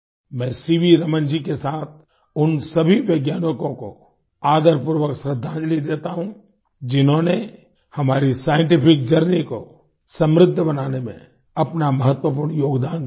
मैं सीवी रमन जी के साथ उन सभी वैज्ञानिकों को आदरपूर्वक श्रद्दांजलि देता हूँ जिन्होंने हमारी साइंटिफिक जर्नी को समृद्ध बनाने में अपना महत्वपूर्ण योगदान दिया है